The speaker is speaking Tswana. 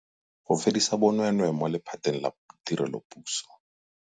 Go fedisa bonweenwee mo lephateng la tirelopuso.